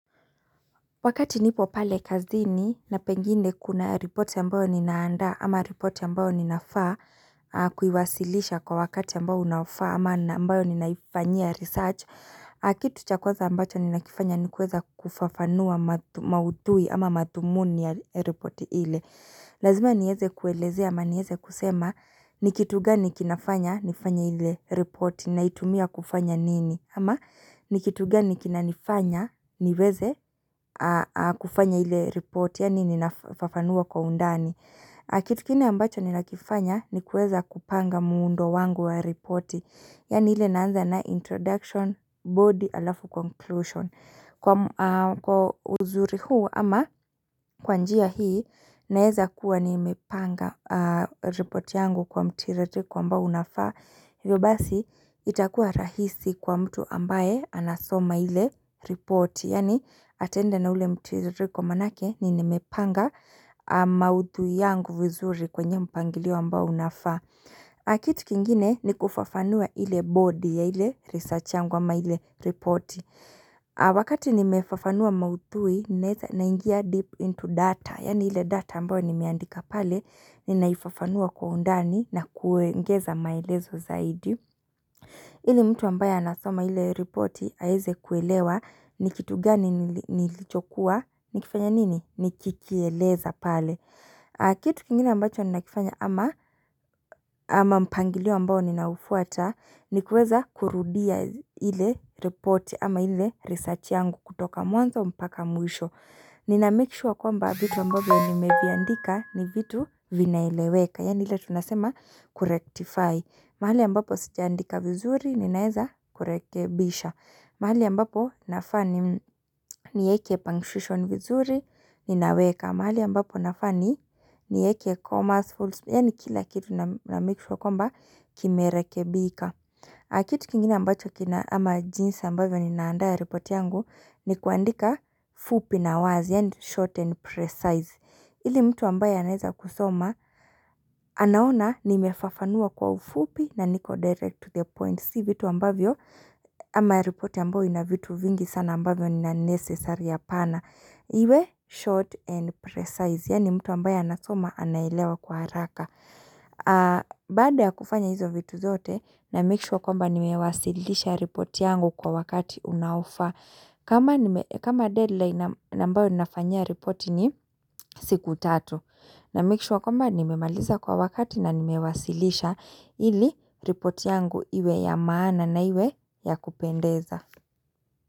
Wakati nipo pale kazini na pengine kuna ripoti ambayo ninaandaa ama ripoti ambayo ninafaa kuiwasilisha kwa wakati ambao unaofaa ama ambayo ninaifanyia research Kitu cha kwanza ambacho ninakifanya ni kuweza kufafanua maudhui ama mathumuni ya ripoti ile Lazima nieze kuelezea ama nieze kusema ni kitu gani kinafanya nifanye ile ripoti naitumia kufanya nini ama ni kitu gani kinanifanya niweze kufanya ile ripoti yaani ninafafanua kwa undani Kitu kingine ambacho ninakifanya ni kueza kupanga muundo wangu wa ripoti Yaani ile naanza na introduction body alafu conclusion Kwa uzuri huu ama kwa njia hii naeza kuwa nimepanga ripoti yangu kwa mtiririko ambao unafaa Hivyo basi itakua rahisi kwa mtu ambaye anasoma ile ripoti Yaani ataenda na ule mtiririko maanake ni nimepanga maudhui yangu vizuri kwenye mpangilio ambao unafaa Kitu kingine ni kufafanua ile body ya ile research yangu ama ile ripoti Wakati nimefafanua maudhui naingia deep into data Yaani ile data ambao nimeandika pale, ninaifafanua kwa undani na kuengeza maelezo zaidi. Ili mtu ambaye anasoma ile ripoti aeze kuelewa, ni kitu gani nilichokuwa, nikifanya nini, nikikieleza pale. Kitu kingine ambacho ninakifanya ama mpangilio ambao ninaufuata, ni kueza kurudia ile ripoti ama ile research yangu kutoka mwanzo mpaka mwisho. Ninamake sure kwamba vitu ambavyo nimeviandika ni vitu vinaeleweka Yaani ile tunasema kurectify mahali ambapo sijaandika vizuri ninaeza kurekebisha mahali ambapo nafaa ni nieke punctuation vizuri ninaweka mahali ambapo nafaa ni nieke commas, fullstop Yaani kila kitu namake sure kwamba kimerekebika kitu kingine ambacho kina ama jinsi ambavyo ninaandaa ripoti yangu ni kuandika fupi na wazi yaani short and precise ili mtu ambaye anaeza kusoma anaona nimefafanua kwa ufupi na niko direct to the point Si vitu ambavyo ama ripoti ambao ina vitu vingi sana ambavyo ni unnecessary apana Iwe short and precise yaani mtu ambaye anasoma anaelewa kwa haraka Baada ya kufanya hizo vitu zote namake sure kwamba nimewasilisha report yangu kwa wakati unaofaa kama deadline na ambao ninafanyia report ni siku 3. Namake sure kwamba nimemaliza kwa wakati na nimewasilisha ili report yangu iwe ya maana na iwe ya kupendeza.